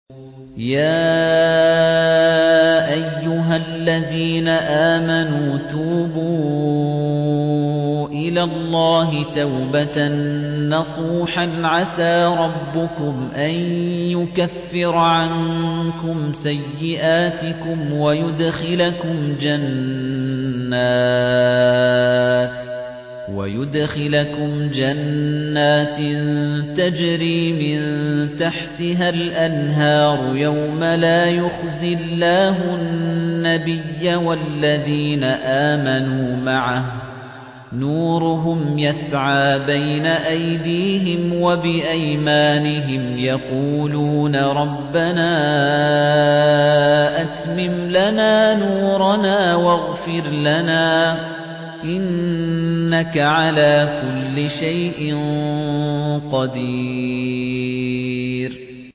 يَا أَيُّهَا الَّذِينَ آمَنُوا تُوبُوا إِلَى اللَّهِ تَوْبَةً نَّصُوحًا عَسَىٰ رَبُّكُمْ أَن يُكَفِّرَ عَنكُمْ سَيِّئَاتِكُمْ وَيُدْخِلَكُمْ جَنَّاتٍ تَجْرِي مِن تَحْتِهَا الْأَنْهَارُ يَوْمَ لَا يُخْزِي اللَّهُ النَّبِيَّ وَالَّذِينَ آمَنُوا مَعَهُ ۖ نُورُهُمْ يَسْعَىٰ بَيْنَ أَيْدِيهِمْ وَبِأَيْمَانِهِمْ يَقُولُونَ رَبَّنَا أَتْمِمْ لَنَا نُورَنَا وَاغْفِرْ لَنَا ۖ إِنَّكَ عَلَىٰ كُلِّ شَيْءٍ قَدِيرٌ